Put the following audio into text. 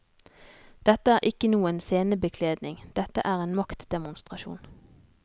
Dette er ikke noen scenebekledning, dette er en maktdemonstrasjon.